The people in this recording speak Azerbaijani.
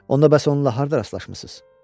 Onda bəs onunla harda rastlaşmısınız?